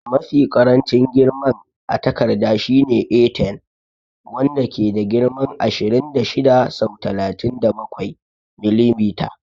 Mafi ƙarancin girman a takarda shine A10, wanda ke da girman ashirin da shida sau talatin da bakwai mm.